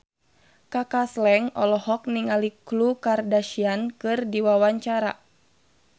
Kaka Slank olohok ningali Khloe Kardashian keur diwawancara